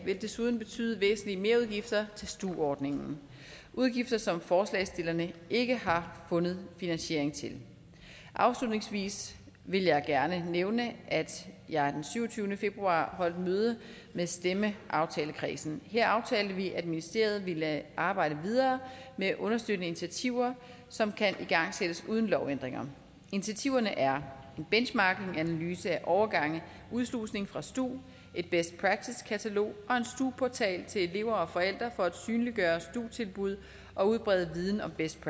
vil desuden betyde væsentlige merudgifter til stu ordningen udgifter som forslagsstillerne ikke har fundet finansiering til afslutningsvis vil jeg gerne nævne at jeg den syvogtyvende februar holdt møde med stemmeaftalekredsen her aftalte vi at ministeriet ville arbejde videre med understøttende initiativer som kan igangsættes uden lovændringer initiativerne er en benchmarkinganalyse af overgange udslusning fra stu et best practice katalog og en stu portal til elever og forældre for at synliggøre stu tilbud og udbrede viden om best